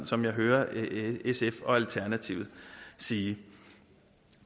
som jeg hører sf og alternativet sige